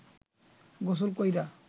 গোসল কইরা